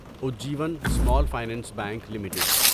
Ujjivan small finance bank limited